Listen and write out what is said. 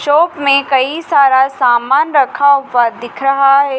चौक में कई सारा सामान रखा हुआ दिख रहा है।